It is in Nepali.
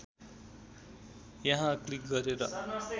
यहाँ क्लिक गरेर